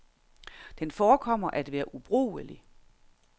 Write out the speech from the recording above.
Den forekommer at være ubrugelig.